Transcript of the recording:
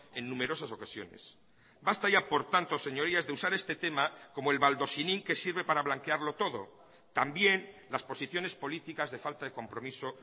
en numerosas ocasiones basta ya por tanto señorías de usar este tema como el baldosinin que sirve para blanquearlo todo también las posiciones políticas de falta de compromiso